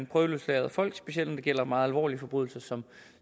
prøveløslader folk specielt når det gælder meget alvorlige forbrydelser som